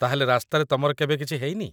ତା'ହେଲେ, ରାସ୍ତାରେ ତମର କେବେ କିଛି ହେଇନି?